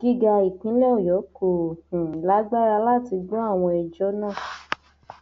gíga ìpínlẹ ọyọ kò um lágbára láti gbọ àwọn ẹjọ náà